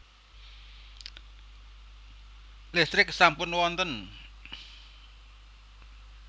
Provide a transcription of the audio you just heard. Listrik sampun wonten